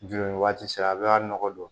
Joli waati sera a bɛ a nɔgɔ don